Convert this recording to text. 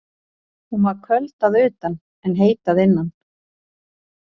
Hún var köld að utan, en heit að innan.